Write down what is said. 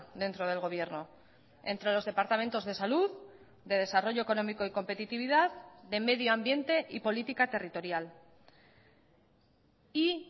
dentro del gobierno entre los departamentos de salud de desarrollo económico y competitividad de medio ambiente y política territorial y